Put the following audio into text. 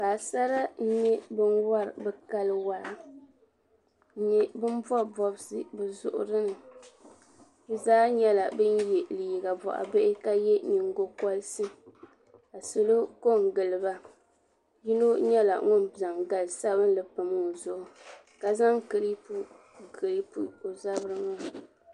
Paɣasara n nye bin wari be kali waa n nye bin bɔbbi bɔbsi be zuɣuri ni be zaa nyela bin ye liiga bɔɣu bihi ka ye nyingokɔrisi ka salo kɔn giliba yino nyela ŋun zaŋ gali sabinli pam o zuɣu ka zaŋ kiripu n kiripu o zabri maa.